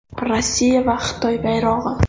Rossiya va Xitoy bayrog‘i.